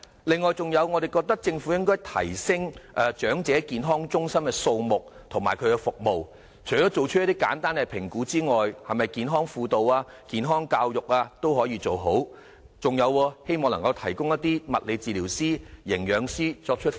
此外，我們覺得政府應該提升長者健康中心的數目及服務，除了作出一些簡單的評估之外，也可以做健康輔導、健康教育，以及提供物理治療師、營養師輔導長者。